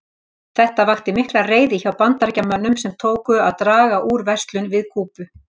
Þetta vakti mikla reiði hjá Bandaríkjamönnum sem tóku að draga úr verslun við Kúbu.